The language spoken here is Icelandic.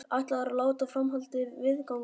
Ætlaðirðu að láta framhaldið viðgangast?